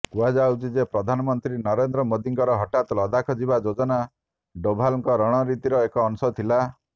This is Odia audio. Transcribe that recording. କୁହାଯାଉଛି ଯେ ପ୍ରଧାନମନ୍ତ୍ରୀ ନରେନ୍ଦ୍ର ମୋଦୀଙ୍କର ହଠାତ୍ ଲଦାଖ ଯିବା ଯୋଜନା ଡୋଭାଲଙ୍କ ରଣନୀତିର ଏକ ଅଂଶ ଥିଲା